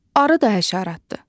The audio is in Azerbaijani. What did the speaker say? Arı da həşəratdır.